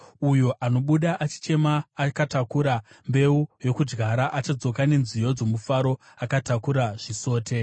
Uyo anobuda achichema, akatakura mbeu yokudyara, achadzoka nenziyo dzomufaro, akatakura zvisote.